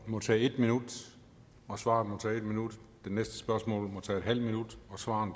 må tage en minut og svaret må tage en minut det næste spørgsmål må tage en halv minut og svaret